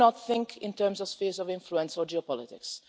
We do not think in terms of spheres of influence or geopolitics.